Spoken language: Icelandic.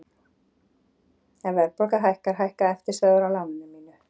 Ef verðbólga hækkar hækka eftirstöðvar á láninu mínu.